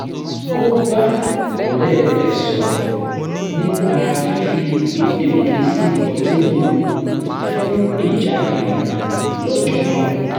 ó bá ọ̀rẹ́ rẹ̀ sọ̀rọ̀ nipa fífi gbèdéke sí ọtí mímu fún ìjáde wo̩n lọ́jọ́ náà